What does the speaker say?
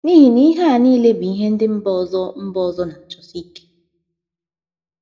N’ihi na ihe a nile bụ ihe ndị mba ọzọ mba ọzọ na - achụsosi ike.